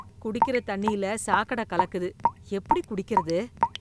குடிக்கிற தண்ணியில சாக்கட கலக்குது, எப்படி குடிக்கிறது?